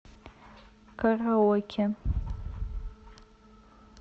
караоке